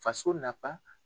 Faso nafa